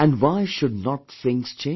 And why should not things change